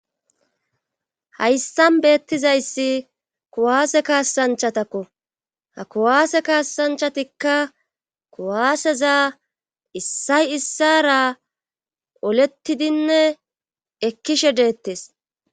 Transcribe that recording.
hayssan beettizayssi kuwaase kaasanchatakko ha kuwaase kaassanchatikka kuwaaseza issay issara olettidinne ekkishe deettes